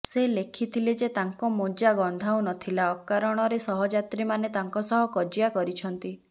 ସେ ଲେଖିଥିଲେ ଯେ ତାଙ୍କ ମୋଜ ଗନ୍ଧାଉ ନ ଥିଲା ଅକାରଣରେ ସହଯାତ୍ରୀମାନେ ତାଙ୍କ ସହ କଜିଆ କରିଛନ୍ତି